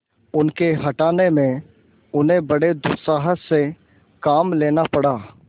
उनके हटाने में उन्हें बड़े दुस्साहस से काम लेना पड़ा